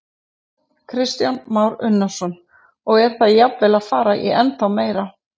Kristján Már Unnarsson: Og er það jafnvel að fara í ennþá meira?